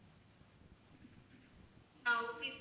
ah okay sir